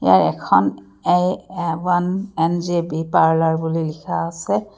ইয়াৰ এখন A one N G B parlour বুলি লিখা আছে।